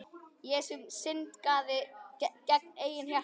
Ég sem syndgaði gegn eigin hjarta.